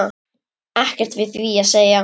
Ekkert við því að segja.